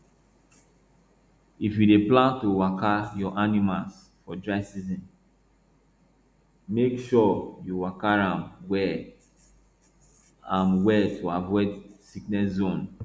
if you dey plan to waka your animals for dry season make sure you waka am well am well to avoid sickness zone